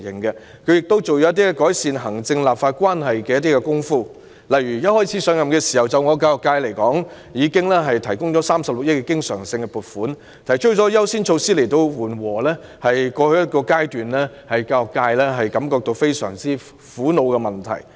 她亦就改善行政立法關係下了一些工夫，例如對我所屬的教育界，她一上任已提出增加36億元的經常性撥款，又提出優先措施紓緩過去一段時間令教育界大感苦惱的問題。